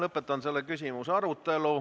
Lõpetan selle küsimuse arutelu.